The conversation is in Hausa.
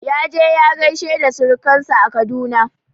Yaje ya gaishe da surkan sa a Kaduna